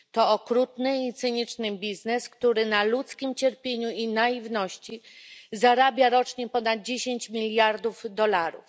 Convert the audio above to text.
To okrutny i cyniczny biznes, który na ludzkim cierpieniu i naiwności zarabia rocznie ponad 10 miliardów dolarów.